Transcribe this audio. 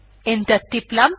enter টিপলাম